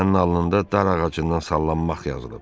sənin alnında dar ağacından sallanmaq yazılıb.